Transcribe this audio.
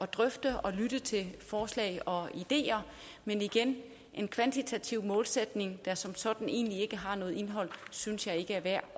drøfte og lytte til forslag og ideer men igen en kvantitativ målsætning der som sådan egentlig ikke har noget indhold synes jeg ikke er værd